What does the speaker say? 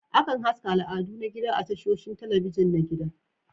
Akan haska al'adu na gida a tashoshin talabijin na gida